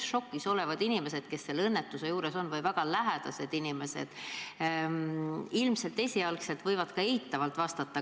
Ja šokis olevad inimesed, kes õnnetuse juures olid, või hukkunu väga lähedased inimesed ilmselt esialgu võivad ka abipakkumisele eitavalt vastata.